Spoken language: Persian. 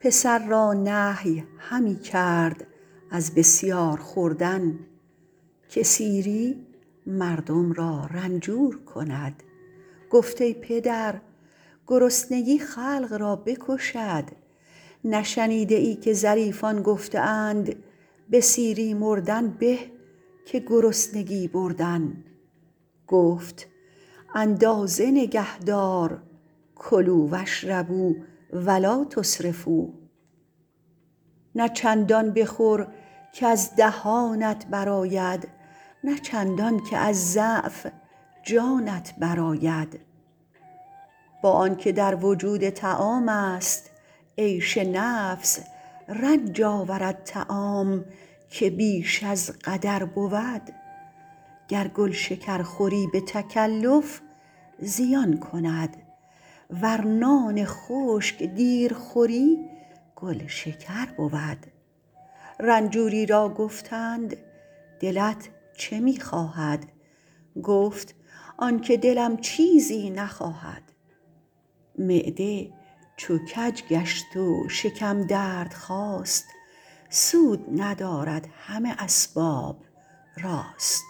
پسر را نهی همی کرد از بسیار خوردن که سیری مردم را رنجور کند گفت ای پدر گرسنگی خلق را بکشد نشنیده ای که ظریفان گفته اند به سیری مردن به که گرسنگی بردن گفت اندازه نگهدار کلوا و اشربوا و لٰا تسرفوا نه چندان بخور کز دهانت بر آید نه چندان که از ضعف جانت بر آید با آن که در وجود طعام است عیش نفس رنج آورد طعام که بیش از قدر بود گر گل شکر خوری به تکلف زیان کند ور نان خشک دیر خوری گل شکر بود رنجوری را گفتند دلت چه می خواهد گفت آن که دلم چیزی نخواهد معده چو کج گشت و شکم درد خاست سود ندارد همه اسباب راست